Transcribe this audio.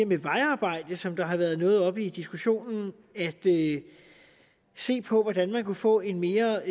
med vejarbejde som har været noget oppe i diskussionen at se på hvordan man kan få en mere